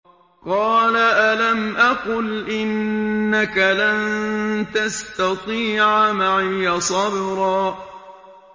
قَالَ أَلَمْ أَقُلْ إِنَّكَ لَن تَسْتَطِيعَ مَعِيَ صَبْرًا